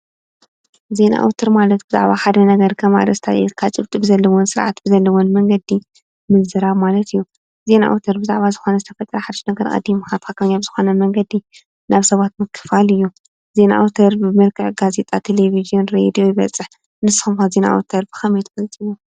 ዜና ኣውትር ማለት ብዛዕባ ሓደ ነገር ከም ኣርእስቲ ኣልዒልካ ጭብጢ ብዘለዎን ስርዓት ብዘለዎን መንገዲ ምዝራብ ማለት እዩ፡፡ ዜና ኣውትር ብዛዕባ ዝኮነ ዝተፈጠረ ሓዱሽ ነገር ኣቐዲምካ ትኽክለኛ ብዝኾነ መንገዲ ናብ ሰባት ምክፋል እዩ፡፡ ዜና ኣውትር ብመልክዕ ጋዜጣ፣ ቴሌብዥን ፣ ሬድዮ ብፅሕፈት። ንስኹም ከ ዜና ኣውትር ብኸመይ ትገልፅዎ?